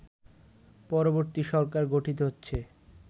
পরবর্তী সরকার গঠিত হচ্ছে